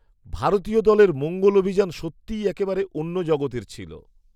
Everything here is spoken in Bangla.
ভারতীয় দলের মঙ্গল অভিযান সত্যিই একেবারে অন্য জগতের ছিল!